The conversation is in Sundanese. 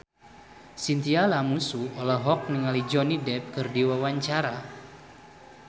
Chintya Lamusu olohok ningali Johnny Depp keur diwawancara